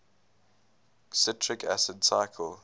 citric acid cycle